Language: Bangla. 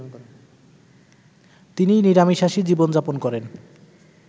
তিনি নিরামিশাষী জীবনযাপন করেন